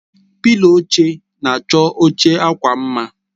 Pịlo oche na-achọ oche akwa mma